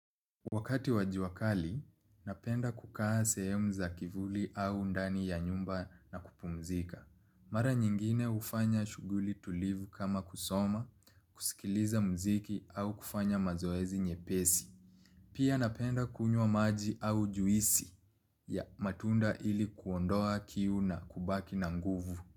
Wakati wa jua kali napenda kukaa sehemu za kivuli au ndani ya nyumba na kupumzika. Mara nyingine hufanya shughuli tulivu kama kusoma, kusikiliza mziki au kufanya mazoezi nyepesi. Pia napenda kunywa maji au juisi ya matunda ili kuondoa kiu na kubaki na nguvu.